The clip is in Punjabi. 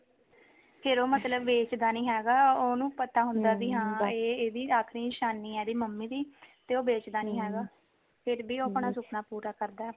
ਫ਼ਿਰ ਉਹ ਮਤਲੱਬ ਵੇਚਦਾ ਨੀ ਹੈਗਾ ਉਹਨੂੰ ਪਤਾ ਹੁੰਦਾ ਹਾਂ ਵੀ ਇਹਦੀ ਆਖ਼ਰੀ ਨਿਸ਼ਾਨੀ ਇਹਦੀ ਮੰਮੀ ਦੀ ਤੇ ਉਹ ਵੇਚਦਾ ਨੀ ਹੈਗਾ ਫ਼ਿਰ ਵੀ ਉਹ ਆਪਣਾ ਸੁਪਨਾ ਪੂਰਾ ਕਰਦਾ